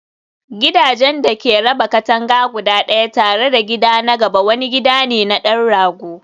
gidajen da ke raba katanga guda ɗaya tare da gida na gaba wani gida ne na ɗan rago.